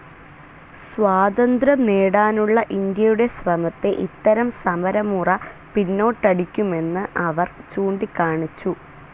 സ്വാതന്ത്ര്യം നേടാനുള്ള ഇന്ത്യയുടെ ശ്രമത്തെ ഇത്തരം സമരമുറ പിന്നോട്ടടിക്കുമെന്ന് അവർ ചൂണ്ടിക്കാണിച്ചു.